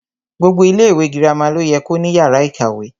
Gbogbo ilẹ ìwé girama lo yẹ ko ní yàrá ìkàwé.